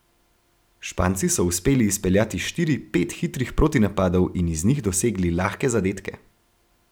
Španci so uspeli izpeljati štiri, pet hitrih protinapadov in iz njih dosegli lahke zadetke.